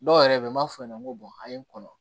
Dɔw yɛrɛ bɛ yen n b'a fɔ ɲɛna n ko a ye n kɔnɔ